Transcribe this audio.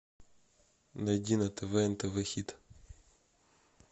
найди на тв нтв хит